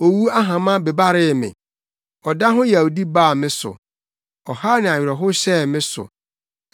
Owu ahama bebaree me, ɔda ho yawdi baa me so, ɔhaw ne awerɛhow hyɛɛ me so.